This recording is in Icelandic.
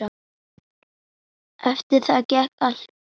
Það kom hik á hann.